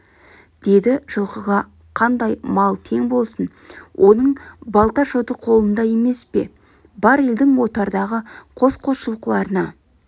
дейді жылқыға қандай мал тең болсын оның балта-шоты қолында емес пе бар елдің отардағы қос-қос жылқыларына